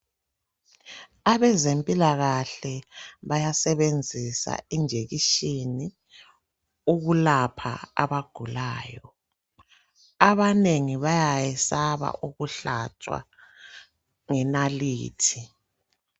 Abezempilakahle bayasebenzisa injekishini ukulapha abagulayo. Abanengi bayakwesaba ukuhlatshwa ngenalithi.